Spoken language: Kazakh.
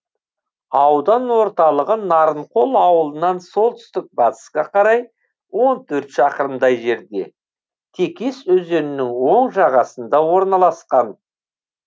аудан орталығы нарынқол ауылынан солтүстік батысқа қарай он төрт шақырымдай жерде текес өзенінің оң жағасында орналасқан